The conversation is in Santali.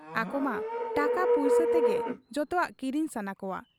ᱟᱠᱚᱢᱟ ᱴᱟᱠᱟ ᱯᱩᱭᱥᱟᱹ ᱛᱮᱜᱮ ᱡᱚᱛᱚᱣᱟᱜ ᱠᱤᱨᱤᱧ ᱥᱟᱱᱟ ᱠᱚᱣᱟ ᱾